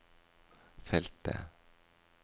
feltet